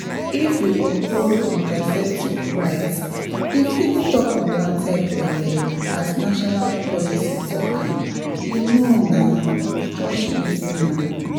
if we uphold contraceptive rights e fit stop unwanted belle as national policy talk am — you know na just pause reason am.